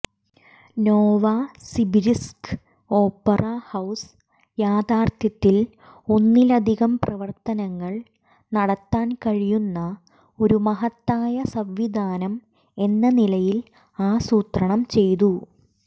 Novosibirsk opera house യഥാർത്ഥത്തിൽ ഒന്നിലധികം പ്രവർത്തനങ്ങൾ നടത്താൻ കഴിയുന്ന ഒരു മഹത്തായ സംവിധാനം എന്ന നിലയിൽ ആസൂത്രണം ചെയ്തു